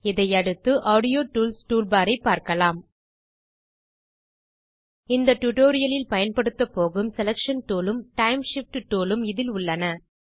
இதை அடுத்து audio tools toolbar ஐப் பார்க்கலாம் இந்த டியூட்டோரியல் இல் பயன்படுத்தப்போகும் செலக்ஷன் டூல் உம் டைம் Shift டூல் உம் இதில் உள்ளன